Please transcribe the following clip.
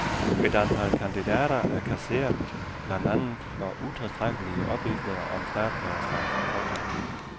Et antal kandidater er kasseret blandt andet for utilstrækkelige oplysninger om statsborgerskab. punktum